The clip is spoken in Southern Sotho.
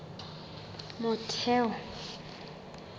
motheo